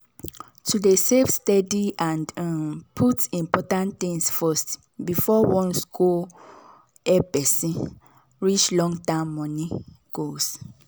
to dey save steady and um put important things first before wants go help person reach long-term money goals.